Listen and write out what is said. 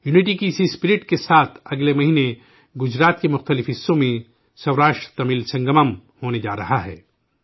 اتحاد کے اسی جذبہ کے ساتھ اگلے مہینے گجرات کے مختلف حصوں میں 'سوراشٹرتمل سنگمم' ہونے جا رہا ہے